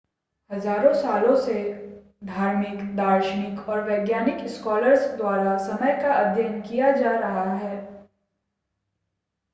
हज़ारों सालों से धार्मिक दार्शनिक और वैज्ञानिक स्कॉलर्स द्वारा समय का अध्ययन किया जा रहा है